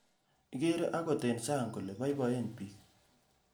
Ikere angot eng sang kole boiboen bik